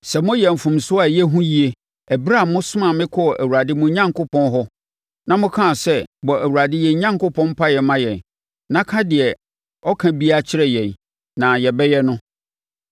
sɛ moyɛɛ mfomsoɔ a ɛyɛ hu yie ɛberɛ a mosomaa me kɔɔ Awurade mo Onyankopɔn hɔ, na mokaa sɛ, ‘Bɔ Awurade yɛn Onyankopɔn mpaeɛ ma yɛn, na ka deɛ ɔka biara kyerɛ yɛn, na yɛbɛyɛ,’ no.